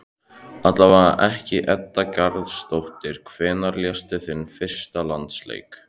Allavega ekki Edda Garðarsdóttir Hvenær lékstu þinn fyrsta landsleik?